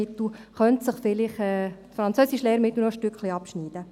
das Französischlehrmittel könnte sich hier vielleicht noch ein Stücklein abschneiden.